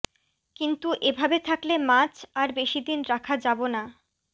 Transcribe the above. কিন্তু এ ভাবে থাকলে মাছ আর বেশিদিন রাখা যাব না